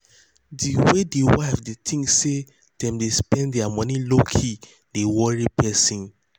the way the wife they think say them dey spend their money lowkey dey worry person.